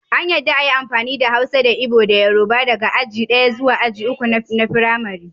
An yadda a yi amfani da Hausa da Igbo da Yoruba daga aji ɗaya zuwa aji uku na Firamari.